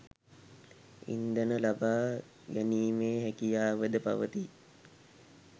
ඉන්ධන ලබා ගැනීමේ හැකියාවද පවති